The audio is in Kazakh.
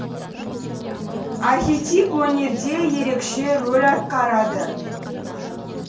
архетип өнерде ерекше рөл атқарады